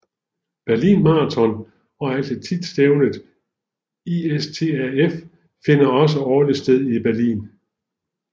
Berlin Marathon og atletikstævnet ISTAF finder også årligt sted i Berlin